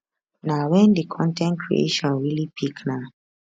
na wen di con ten t creation really pick na